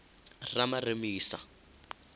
ramaremisa